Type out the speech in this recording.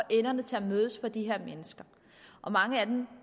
enderne til at mødes for de her mennesker og mange af dem